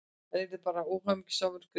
Hann yrði bara óhamingjusamur, greyið.